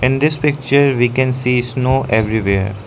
In this picture we can see snow everywhere.